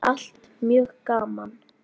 Allt mjög gaman.